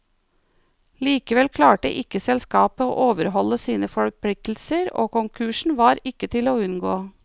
Likevel klarte ikke selskapet å overholde sine forpliktelser, og konkursen var ikke til å unngå.